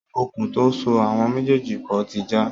Okùn tó so àwọn méjèèjì pọ̀ ti já